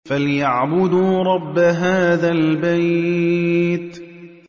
فَلْيَعْبُدُوا رَبَّ هَٰذَا الْبَيْتِ